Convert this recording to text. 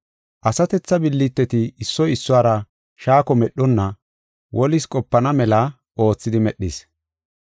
Asatetha billiteti issoy issuwara shaako medhonna wolis qopana mela oothidi medhis.